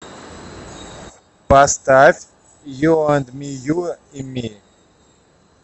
поставь ю энд ми ю и ми